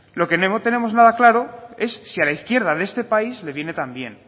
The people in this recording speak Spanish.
lo que no tenemos nada claro es si a la izquierda de este país le viene tan bien